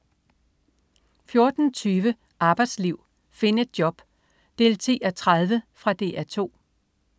14.20 Arbejdsliv. Find et job! 10:30. Fra DR2